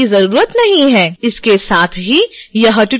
इसके साथ ही यह ट्यूटोरियल समाप्त होता है